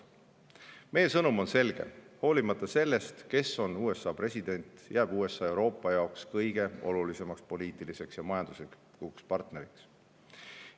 Meie sõnum on selge: hoolimata sellest, kes on USA president, jääb USA Euroopa jaoks kõige olulisemaks poliitiliseks ja majanduslikuks partneriks.